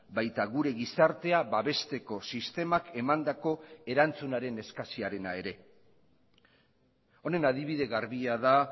baita gure gizartea babesteko sistemak emandako erantzunaren eskasiarena ere honen adibide garbia da